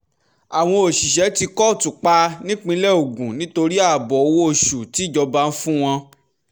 àwọn òṣìṣẹ́ tí kóòtù pa nípínlẹ̀ ogun nítorí ààbọ̀ owó oṣù tíjọba ń fún wọn